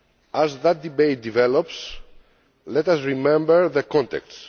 As that debate develops, let us remember the context.